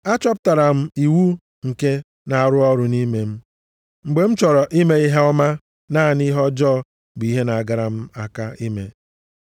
Achọpụtara m iwu nke na-arụ ọrụ nʼime m. Mgbe m chọrọ ime ihe ọma, naanị ihe ọjọọ bụ ihe na-agara m aka ime.